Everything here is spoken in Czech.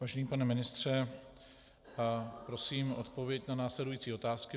Vážený pane ministře, prosím o odpověď na následující otázky.